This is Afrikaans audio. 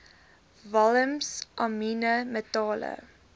walms amiene metale